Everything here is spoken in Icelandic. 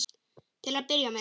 Til að byrja með.